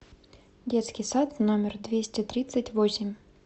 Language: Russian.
детский сад номер двести тридцать восемь